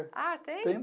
Ah, tem?